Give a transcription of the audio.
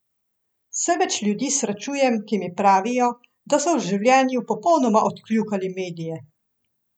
Vse več ljudi srečujem, ki mi pravijo, da so v življenju popolnoma odkljukali medije.